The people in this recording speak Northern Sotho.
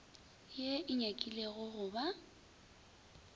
ye e nyakilego go ba